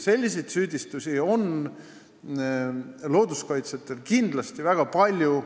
Selliseid süüdistusi on looduskaitsjatel väga palju.